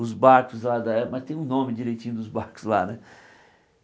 os barcos lá da é, mas tem um nome direitinho dos barcos lá, né?